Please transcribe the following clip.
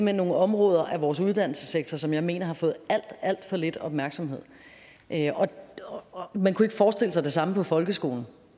hen nogle områder af vores uddannelsessektor som jeg mener har fået alt alt for lidt opmærksomhed og man kunne ikke forestille sig det samme med folkeskolen